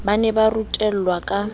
ba ne ba rutelwa ka